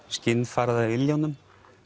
skinn farið af iljunum